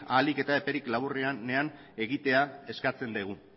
ahalik eta epe laburrenean egitea eskatzen dugu